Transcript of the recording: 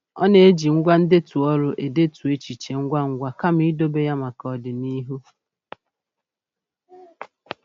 Ọ na-eji ngwá ndetu olu edetu echiche ngwangwa kama idobe ya maka ọdịnihu.